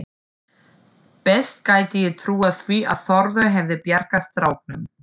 Best gæti ég trúað því að Þórður hefði bjargað stráknum.